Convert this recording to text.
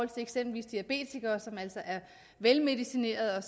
til eksempelvis diabetikere som altså er velmedicinerede og